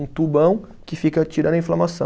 Um tubão que fica tirando a inflamação.